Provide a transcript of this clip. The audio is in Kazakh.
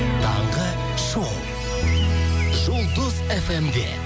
таңғы шоу жұлдыз фм де